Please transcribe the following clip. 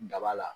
Daba la